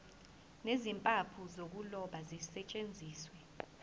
nezimpawu zokuloba zisetshenziswe